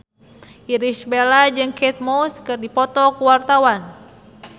Irish Bella jeung Kate Moss keur dipoto ku wartawan